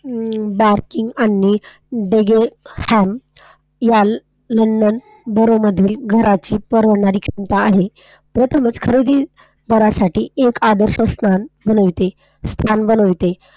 Ham, याल, घराची परवडणारी किंमत आहे. खरेदी करण्यासाठी एक आदर्श दुकान स्थान बनवते.